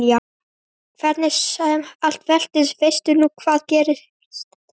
Hvernig sem allt veltist veistu nú hvað gerst hefur.